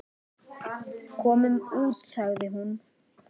Komum út, sagði hún.